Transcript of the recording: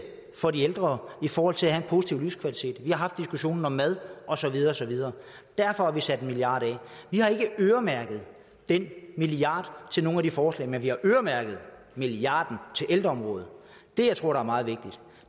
for de ældre i forhold til at have en positiv livskvalitet vi har haft diskussionen om mad og så videre og så videre derfor har vi sat en milliard af vi har ikke øremærket den milliard til nogle af de forslag men vi har øremærket en milliard til ældreområdet det jeg tror er meget vigtigt